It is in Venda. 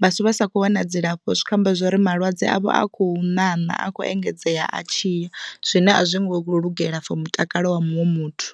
vhathu vha sa kho wana dzilafho zwi kho amba zwori malwadze avho a khou ṋaṋa a khou engedzea a tshiya zwine a zwi ngo lugela for mutakalo wa muṅwe muthu.